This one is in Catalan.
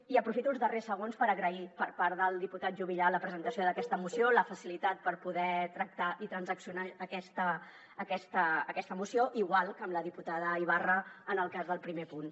i aprofito els darrers segons per agrair per part del diputat juvillà la presentació d’aquesta moció la facilitat per poder tractar i transaccionar aquesta moció igual que amb la diputada ibarra en el cas del primer punt